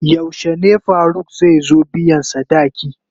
Yaushe ne Faruk zai zo biyan sadaki?